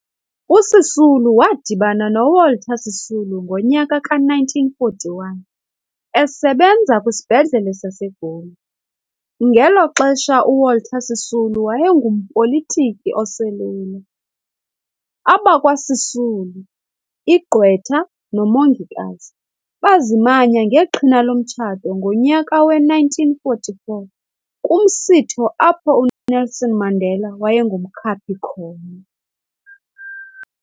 USisulu wadibana noWalter Sisulu ngonyaka ka-1941, esebenza kwisibhedlele saseGoli, ngeloxesha uWalter Sisulu wayengumpolitiki oselula. Abakwa Sisulu- igqwetha nomongikazi- bazimanya ngeqhina lomtshato ngonyaka we-1944, kumsitho apho uNelson Mandela wayengumkhaphi khona.